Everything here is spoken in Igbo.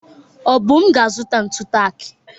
Obum ga-azụta ntụ taak.